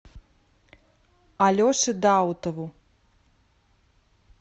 алеше даутову